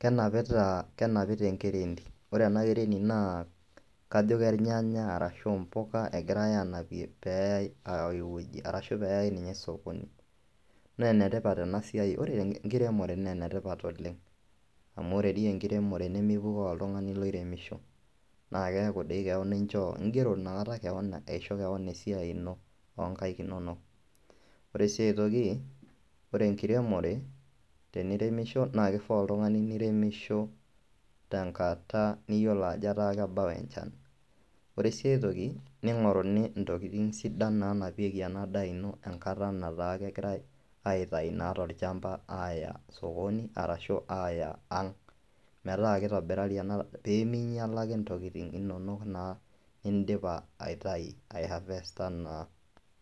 kenapitaa kenapita enkireet ore ena kereet naa kajo ke irnyanya arashu mpuka egirai aanapie peeyai ai wueji arashu peeyai ninye sokoni nee ene tipat ena siai. Ore enkiremore nee ene tipat oleng' amu ore dii enkiremore nemepukoo oltung'ani loiremisho naake eeku dii keon inchoo ing'ero inakata keon aisho keon esiai ino oo nkaek inonok. Ore siai enkae toki, ore enkiremore teniremisho naake ifaa oltung'ani niremisho tenkata niyolo ajo ketaa kebau enchan. Ore sii ai toki, ning'oruni ntokitin sidan naanapieki ena daa ino enkata nataa kegirai aitayu naa tolchamba aaya sokoni arashu aaya ang', metaa kitobirari ena pee minyala ake intokitin inonok naa indipa aitayu aihavesta naa.